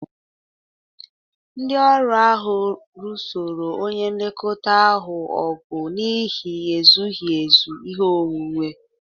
Ndị ọrụ ahụ lụsoro onye nlekọta ahụ ọgụ n'ihi ezughị ezu ihe onwunwe